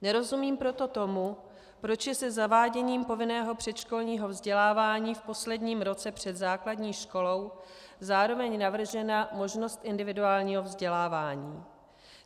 Nerozumím proto tomu, proč je se zaváděním povinného předškolního vzdělávání v posledním roce před základní školou zároveň navržena možnost individuálního vzdělávání.